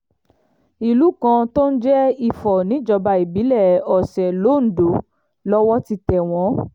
ìlú kan tó ń jẹ́ ifò níjọba ìbílẹ̀ ọ̀sẹ̀ londo lowó ti tẹ̀ wọ́n